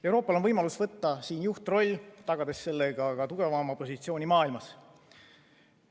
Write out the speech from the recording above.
Euroopal on võimalus võtta siin juhtroll, tagades sellega ka tugevam positsioon maailmas.